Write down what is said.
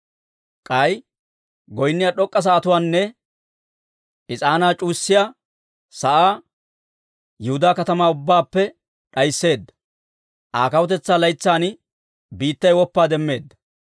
K'ay goynniyaa d'ok'k'a sa'atuwaanne is'aanaa c'uwayiyaa sa'aa Yihudaa katamaa ubbaappe d'aysseedda. Aa kawutetsaa laytsan biittay woppaa demmeedda.